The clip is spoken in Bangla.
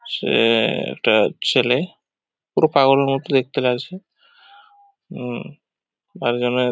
সে-এ একটা ছেলে পুরো পাগলের মতো দেখতে লাগছে উম মাঝখানে --